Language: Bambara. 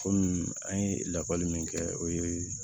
Komi an ye lakɔli min kɛ o ye